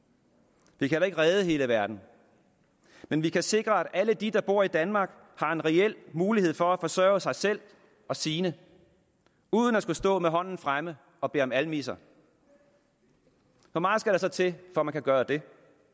vi kan heller ikke redde hele verden men vi kan sikre at alle de der bor i danmark har en reel mulighed for at forsørge sig selv og sine uden at skulle stå med hånden fremme og bede om almisser hvor meget skal der så til for at man kan gøre det